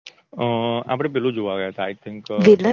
અ આપડે પેલું જોવા ગયાતા આઈ થિન્ક